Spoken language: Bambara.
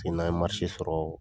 n'a ye sɔrɔ.